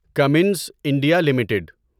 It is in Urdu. Cummins India limited